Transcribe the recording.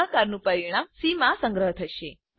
ભાગાકારનું પરિણામ સી માં સંગ્રહ થશે